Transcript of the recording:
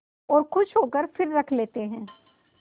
और खुश होकर फिर रख लेते हैं